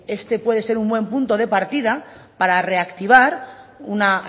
este puede ser un buen punto de partida para reactivar una